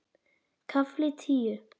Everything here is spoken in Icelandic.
KAFLI TÍU